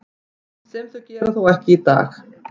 Sem þau gera þó ekki í dag.